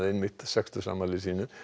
sextugsafmæli sínu